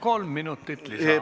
Kolm minutit lisa.